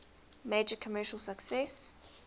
major commercial success